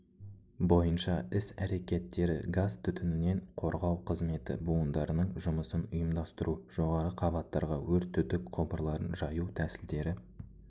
бойынша іс-әрекеттері газ-түтінінен қорғау қызметі буындарының жұмысын ұйымдастыру жоғары қабаттарға өрт түтік құбырларын жаю тәсілдері